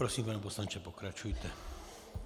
Prosím, pane poslanče, pokračujte.